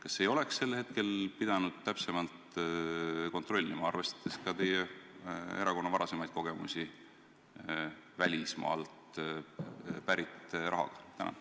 Kas ei oleks sel hetkel pidanud täpsemalt kontrollima, arvestades teie erakonna varasemaid kogemusi välismaalt pärit rahaga?